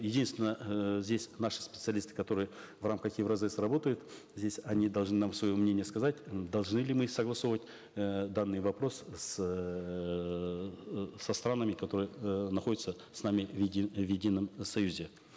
единственное э здесь наши специалисты которые в рамках евразэс работают здесь они должны нам свое мнение сказать м должны ли мы согласовывать э данный вопрос с эээ со странами которые э находятся с нами в в едином союзе